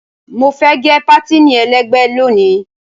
Mo fẹ́ gẹ pátìnì ẹlẹ́gbẹ̀ẹ́ lónìí.